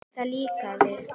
Það líkaði